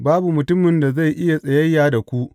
Babu mutumin da zai iya tsayayya da ku.